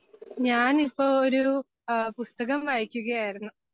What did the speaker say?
ഞാനിപ്പോ ഒരു ആ പുസ്തകം വായിക്കുകയായിരുന്നു.